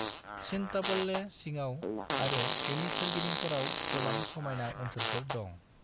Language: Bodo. चिंतापल्ले सिङाव आरो बेनि सोरगिदिंफोराव गोबां समायना ओनसोलफोर दं।